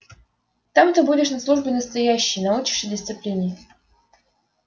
там ты будешь на службе настоящей научишься дисциплине